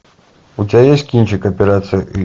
у тебя есть кинчик операция ы